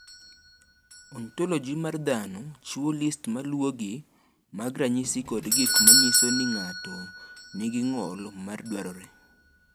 Ontoloji mar dhano chiwo list ma luwogi mag ranyisi kod gik ma nyiso ni ng’ato nigi ng’ol ma dwarore.